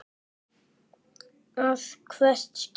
að hvert skipti.